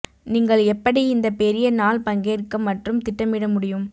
நீங்கள் எப்படி இந்த பெரிய நாள் பங்கேற்க மற்றும் திட்டமிட முடியும்